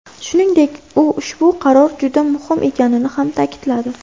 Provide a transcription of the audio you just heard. Shuningdek, u ushbu qaror juda muhim ekanini ham ta’kidladi.